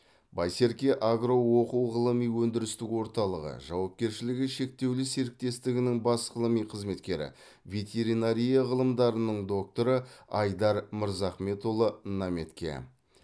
байсерке агро оқу ғылыми өндірістік орталығы жауапкершілігі шектеулі серіктестігінің бас ғылыми қызметкері ветеринария ғылымдарының докторы айдар мырзахметұлы наметке